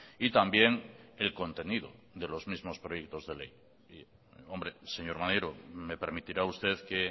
y también el contenido de los mismos proyectos de ley hombre señor maneiro me permitirá usted que